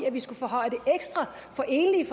at vi skulle forhøje det ekstra for enlige